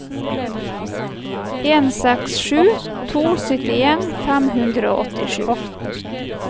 en seks sju to syttien fem hundre og åttisju